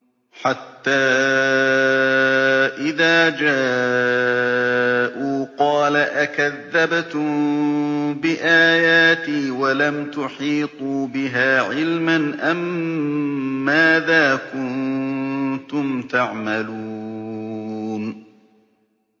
حَتَّىٰ إِذَا جَاءُوا قَالَ أَكَذَّبْتُم بِآيَاتِي وَلَمْ تُحِيطُوا بِهَا عِلْمًا أَمَّاذَا كُنتُمْ تَعْمَلُونَ